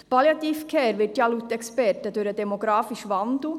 Die Palliative Care wird laut Experten durch den demografischen Wandel